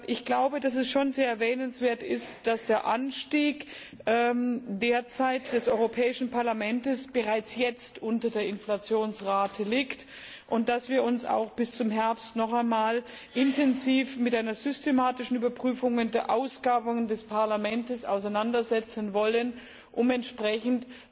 Ich glaube, dass es schon sehr erwähnenswert ist, dass der Anstieg der Mittel des Europäischen Parlaments bereits jetzt unter der Inflationsrate liegt und dass wir uns auch bis zum Herbst noch einmal intensiv mit einer systematischen Überprüfung der Ausgaben des Parlaments auseinandersetzen wollen, um entsprechend